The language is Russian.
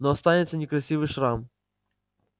но останется некрасивый шрам